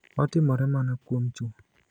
Otimore mana kuom chwo.